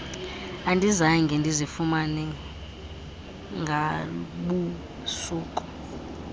andizange ndizifumane ngabusuku